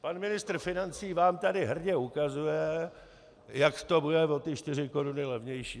Pan ministr financí vám tady hrdě ukazuje, jak to bude o ty 4 koruny levnější.